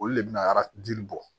Olu le bɛna arajo bɔ